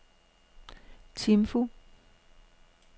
Timphu